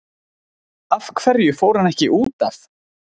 Af hverju fór hann ekki útaf?